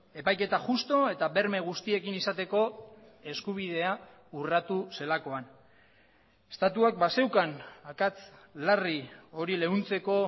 epaiketa justu eta berme guztiekin izateko eskubidea urratu zelakoan estatuak bazeukan akats larri hori leuntzeko